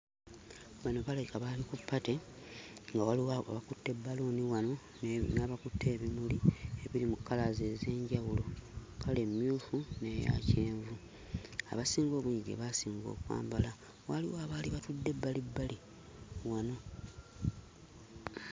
Bano balabika baali ku ppate nga waliwo abakutte bbaaluuni wano ne... n'abakutte ebimuli ebiri mu kkalaazi ez'enjawulo; kkala emmyufu n'eya kyenvu. Abasinga obungi gye baasinga okwambala. Waliwo abaali batudde ebbalibbali wano.